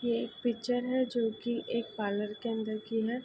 ये एक पिक्चर है जोकि एक पार्लर के अंदर की है।